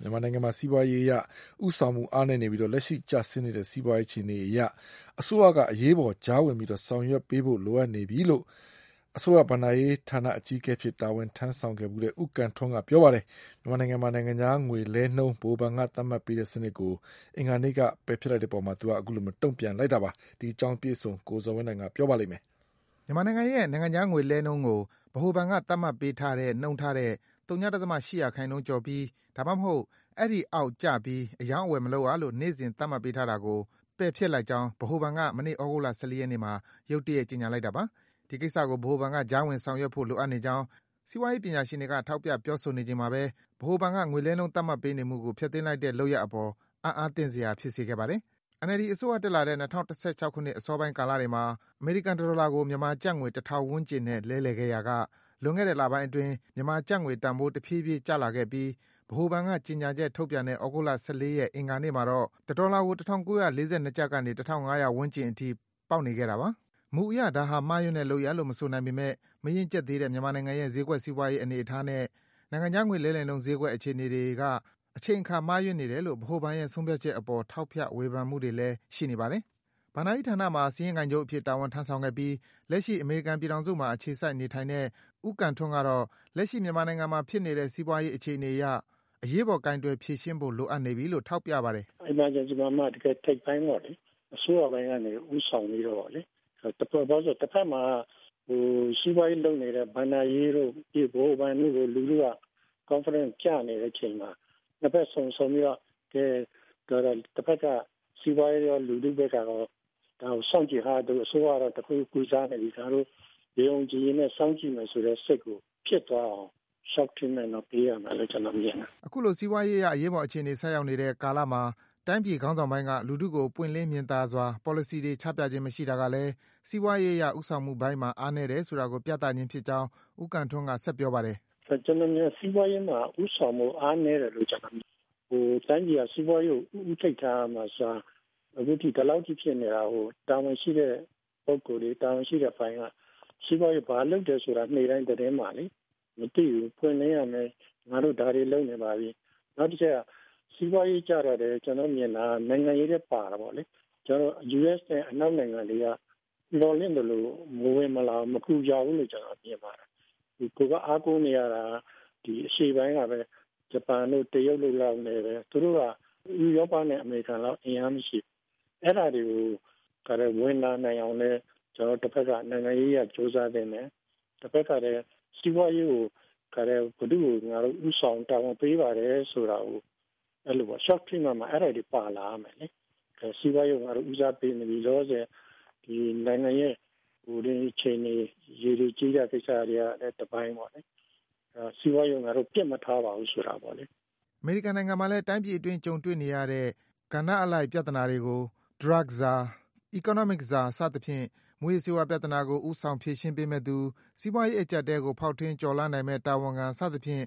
မြန်မာနိုင်ငံမှာ စီးပွားရေးအရ ဦးဆောင်မှု အားနည်းနေပြီး လက်ရှိ ကျဆင်းနေတဲ့ စီးပွားရေး အခြေအနေအရ အစိုးရက အရေးပေါ် ကြားဝင် ဆောင်ရွက်ဖို့ လိုအပ်နေပြီလို့ အစိုးရဘဏ္ဍာရေးဌာန အကြီးအကဲအဖြစ် တာဝန်ထမ်းဆောင်ခဲ့သူ ဦးကံထွန်းက ပြောပါတယ်။ မြန်မာနိုင်ငံမှာ နိုင်ငံခြားငွေလဲလှယ်နှုန်း ဗဟိုဘဏ်က သတ်မှတ်ပေးတဲ့ စနစ်ကို အင်္ဂါနေ့က ပယ်ဖျက်လိုက်ပြီးတဲ့အပေါ် သူက အခုလို တုံ့ပြန် ပြောဆိုလိုက်တာပါ။ အပြည့်အစုံကိုတော့ ကိုဇော်ဝင်းလှိုင်က တင်ပြပေးပါမယ်။ မြန်မာနိုင်ငံရဲ့ နိုင်ငံခြားငွေလဲလှယ်နှုန်းကို ဗဟိုဘဏ်က သတ်မှတ်ပေးထားတဲ့ နှုန်းထားထက် ဝ.၈% ကျော်ပြီး၊ ဒါမှမဟုတ် အဲဒီထက် အောက်ကျပြီး အရောင်းအဝယ် မလုပ်ရလို့ နေ့စဉ် သတ်မှတ်ပေးနေတာကို ပယ်ဖျက်လိုက်ကြောင်း မနေ့ သြဂုတ်လ ၁၃ ရက်နေ့မှာရုတ်တရက် ကြေညာလိုက်တာပါ။ ဒီကိစ္စကို ဗဟိုဘဏ်က ကြားဝင်ဆောင်ရွက်ဖို့ လိုအပ်နေကြောင်း စီးပွားရေး ပညာရှင်တွေက ထောက်ပြ ပြောဆိုနေချိန်မှာဘဲ ဗဟိုဘဏ်က ငွေလဲနှုန်း သတ်မှတ်ပေးနေမှုကို ဖျက်သိမ်းလိုက်တဲ့ လုပ်ရပ်အပေါ် အံ့အားသင့်စရာ ဖြစ်စေခဲ့ပါတယ်။ NLD အစိုးရ တက်တဲ့ ၂၀၁၆ ခုနှစ် အစောပိုင်း ကာလတွေမှာ အမေရိကန် တဒေါ်လာကို မြန်မာကျပ်ငွေ ၁၀၀၀ ဝန်းကျင်နဲ့ လဲလှယ်ခဲ့ရာက လွန်ခဲ့တဲ့ လပိုင်းအတွင်း မြန်မာကျပ်ငွေတန်ဖိုး တဖြည်းဖြည်း ကျလာခဲ့ပြီး ဗဟိုဘဏ်က ကြေညာချက် ထုတ်ပြန်တဲ့ သြဂုတ်လ ၁၃ ရက်၊ အင်္ဂါနေ့မှာတော့ တဒေါ်လာကို ၁၄၉၂ ကျပ်ကနေ ၁၅၀၀ ဝန်းကျင်အထိ ပေါက်နေခဲ့တာပါ။ မူအရ ဒါဟာ မှားယွင်းတဲ့ လုပ်ရပ်လို့ မဆိုနိုင်ပေမယ့် မရင့်ကျက်သေးတဲ့ မြန်မာနိုင်ငံရဲ့ ဈေးကွက် စီးပွားရေးအနေအထားနဲ့ နိုင်ငံခြားငွေ လဲလှယ်နှုန်း ဈေးကွက် အခြေအနေတွေက အချိန်အခါ မှားယွင်းနေတယ်လို့ ဗဟိုဘဏ်ရဲ့ ဆုံးဖြတ်ချက်အပေါ် ထောက်ပြ ဝေဖန်မှုတွေလည်း ရှိနေပါတယ်။ ဘဏ္ဍာရေးဌာနမှာ စာရင်းကိုင်ချုပ်အဖြစ် တာဝန်ထမ်းဆောင်ခဲ့ပြီး လက်ရှိ အမေရိကန်ပြည်ထောင်စုမှာ အခြေစိုက် နေထိုင်နေတဲ့ ဦးကံထွန်းကတော့ လက်ရှိ မြန်မာနိုင်ငံမှာ ဖြစ်နေတဲ့ စီးပွားရေး အခြေအနေအရ အရေးပေါ် ကိုင်တွယ် ဖြေရှင်းဖို့ လိုအပ်နေပြီလို့ ထောက်ပြပါတယ်။ "Emergency မှာမှ တကယ့်ထိပ်ပိုင်းပေါ့လေ အစိုးရပိုင်းကနေ ဦးဆောင်ပြီးတော့လေ။ ဘာဖြစ်လို့လဲဆိုတော့ တဖက်မှာ စီးပွားရေးလုပ်နေတဲ့ ဘဏ္ဍာရေးတို့ ၊ ဗဟိုဘဏ်တို့မှာ confident ကျနေတဲ့အချိန်မှာ ၂ ဖက်စုံပြီးတော့ တဖက်က စီးပွားရေးရော လူထုဘက်ကရော ဒါကို စောင့်ကြည့်နေတယ်။ အစိုးရကတော့ တခုခုကို ကုစားနေပြီ၊ ဒါကို ယုံယုံကြည်ကြည်နဲ့ စောင့်ကြည့်မယ် ဆိုတဲ့ စိတ်ကို ဖြစ်သွားအောင် ပေးရမယ်လို့ ကျနော်ကတော့ မြင်တယ်။" အခုလို စီးပွားရေးအရ အရေးပေါ် အခြေအနေ ဆိုက်ရောက်နေတဲ့အချိန်မှာ တိုင်းပြည်ခေါင်းဆောင်ပိုင်းက လူထုကို ပွင့်လင်း မြင်သာစွာ ပေါ်လစီတွေ ချပြခြင်း မရှိတာကလည်း စီပွားရေးအရ ဦးဆောင်မှုပိုင်းမှာ အားနည်းတယ်ဆိုတာကို ပြသခြင်းဖြစ်ကြောင်း ဦးကံထွန်းက ဆက်ပြောပါတယ်။ "ကျနော်မြင်တာကတော့ စီးပွားရေးမှာ ဦးဆောင်မှုအပိုင်းအားနည်းတယ်လို့ ကျနေ်ာမြင်တယ်။ တိုင်းပြည်က စီးပွားရေးကို ဦးထိပ်ထားရမယ့်အစား အခုဒီလောက်အထိ ဖြစ်နေတာကို တာဝန်ရှိတဲ့လူတွေ တာဝန်ရှိတဲ့အပိုင်းက စီးပွားရေးကို ဘာလုပ်တယ်ဆိုတာ နေ့တိုင်းသတင်းမှာလေ မသိဘူး၊ ပွင့်လင်းရမယ်။ ငါတို့ဒါတွေလုပ်နေပါပြီ၊ နောက်ပြီးတော့ စီးပွားရေးကျတော့လည်း ကျနော်တို့မြင်တာက နိုင်ငံရေးလည်း ပါတာပေါ့လေ၊ ကျနော်တို့ US နဲ့ အနောက်နိုင်ငံတွေက မျှော်လင့်သလို မကူကြဘူး၊ မဝင်လာဘူးလို့ မြင်ပါတယ်။ ကိုယ်က အားကိုနေတာက အရှေ့ပိုင်းကပဲ။ ဂျပန်တို့ တရုတ်တို့ နဲ့ပဲ။ သူတို့က ဥရောပနဲ့ အမေရိကန်တို့လို အင်အားမရှိဘူး။ အဲဒါတွေကို ဝင်လာနိုင်အောင်လည်း ကျနော်တို့ တဖက်က နိုင်ငံရေးအရ ကြိုးစားသင့်တယ်။ တဖက်ကလည်း စီးပွားရေးကို ဘယ်သူ့ကို ဦးဆောင်တာဝန် ပေးပါတယ်ဆိုတာကို အဲဒါတွေပြောရမယ်။ စီးပွားရေးကို ငါတို့ ဦးစားပေးနေတယ်၊ လောလောဆည် နိုင်ငံရဲ့ ရေတိုရေရည်ကိစ္စတွေကလည်း တပိုင်းပေါ့လေ။ စီးပွားရေးကို ငါတို့ ပစ်မထားပါဘူး ဆိုတာပေါ့လေ။" အမေရိကန်နိုင်ငံမှာလည်း တိုင်းပြည်အတွင်း ကြုံတွေ့နေရတဲ့ ကဏ္ဍအလိုက် ပြဿနာတွေကို Drug Czar ၊ Economi Czar စသဖြင့် မူးယစ်ဆေးဝါး ပြဿနာကို ဦးဆောင် ဖြေရှင်းပေးမယ့်သူ၊ စီးပွားရေး အကြပ်အတည်းကို ဖောက်ထွင်း ကျော်လွှားနိုင်မယ့် တာဝန်ခံ စသဖြင့်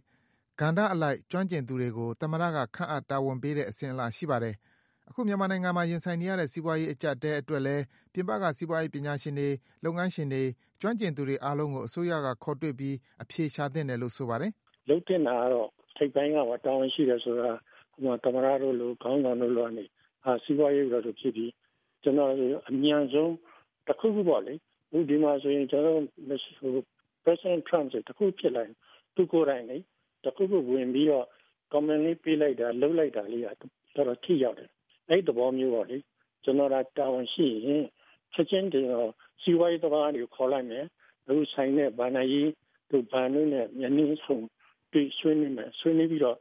ကဏ္ဍအလိုက် ကျွမ်းကျင်သူတွေကို သမ္မတက ခန့်အပ် တာဝန်ပေးတဲ့ အစဉ်အလာ ရှိပါတယ်။ အခု မြန်မာနိုင်ငံမှာ ရင်ဆိုင်နေရတဲ့ စီးပွားရေး အကျပ်အတည်းအတွက်လည်း ပြင်ပက စီးပွားရေးပညာရှင်တွေ၊ လုပ်ငန်းရှင်တွေ၊ ကျွမ်းကျင်သူတွေ အားလုံးကို အစိုးရက ခေါ်တွေ့ပြီး အဖြေရှာသင့်တယ်လို့ ဆိုပါတယ်။ "လုပ်သင့်တာကတော့ ထိပ်ပိုင်းမှာ တာဝန်ရှိတယ်ဆိုတာ သမ္မတတို့လို၊ ခေါင်းဆောင်တို့လိုတွေက စီးပွားရေးက ဒီလိုဖြစ်ပြီ အမြန်ဆုံး တခုခုပေါ့လေ အခုဒီမှာဆိုရင် ကျနော်တို့ President Trump ဆိုရင် တခုခုဖြစ်လာရင် သူကိုယ်တိုင် တခုခုဝင်ပြီးတော့ Comment လေးပေးလိုက်တာလေးက တေ်ာတော်ထိရောက်တယ်။ အဲဒီသဘောမျိုးပေါ့လေ။ ကျနော်သာ တာဝန်ရှိရင် ချက်ချင်းစီးပွားရေးသမားတွေကို ခေါ်လိုက်မယ် ၊ အခုသက်ဆိုင်တဲ့ ဘဏ္ဍာရေးတွေနဲ့ တွေ့ဆုံဆွေးနွေးမယ်။ ဆွေးနွေးပြီးတော့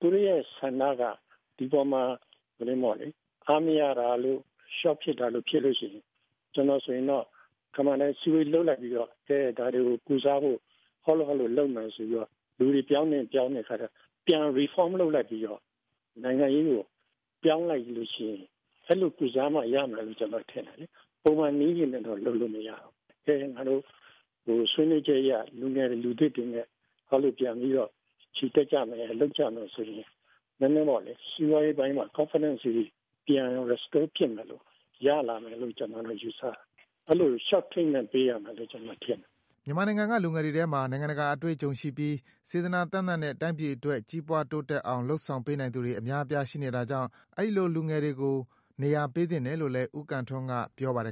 သူတို့ဆန္ဒက ဒီအပေါ်မှာ အားမရတာလို ရှော့ဖြစ်တာတွေရှိရင် အစည်းအဝေးလုပ်လိုက်ပြီးတော့ ဒါတွေကို ကုစားဖို့ အဲလိုတွေလုပ်မယ်ဆိုပြီးတော့၊ လူတွေ ပြောင်းသင့်ရင်လည်း ပြောင်းမယ်ဆိုပြီးတော့ ပြန်ပြီး Reform လုပ်လိုက်ပြီးတော့ နိုင်ငံရေးကို ပြောင်းလိုက်ရင် အဲလိုကုစားမှရမယ်လို့ထင်တယ်။ ပုံမှန်နည်းနဲ့တော့ လုပ်လို့မရဘူး ။ အဲဒါကြောင့် ဆွေးနွေးချက်အရ လူငယ်တွေ၊ လူသစ်တွေနဲ့ ပြန်ပြီးတော့ ချီတက်ကြမယ်၊ လုပ်ကြမယ်ဆိုရင် စီးပွားရေးပိုင်းမှာ Confident တွေပြန်ပြီးတော့ Restore ဖြစ်မယ်လို့ကျနော်ယူဆတယ် ။ အဲလို Treatment ပေးရမယ်လို့ ကျနော်ထင်တယ်။" မြန်မာနိုင်ငံက လူငယ်တွေထဲမှာ နိုင်ငံတကာ အတွေ့အကြုံရှိပြီး စေတနာသန့်သန့်နဲ့ တိုင်းပြည် တိုးတက် ကြီးပွားအောင် လုပ်ဆောင် ပေးနိုင်သူတွေ အများအပြား ရှိနေတာကြောင့် အဲဒီလို လူငယ်တွေကို နေရာပေးသင့်တယ်လို့လည်း ဦးကံထွန်းက ပြောပါတယ်